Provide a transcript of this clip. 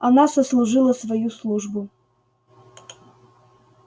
она сослужила свою службу